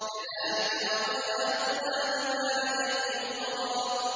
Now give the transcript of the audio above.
كَذَٰلِكَ وَقَدْ أَحَطْنَا بِمَا لَدَيْهِ خُبْرًا